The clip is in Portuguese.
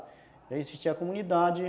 Já existia a comunidade e...